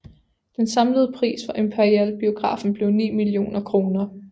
Den samlede pris for Imperialbiografen blev 9 millioner kr